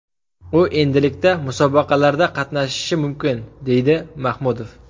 U endilikda musobaqalarda qatnashishi mumkin”, deydi Mahmudov.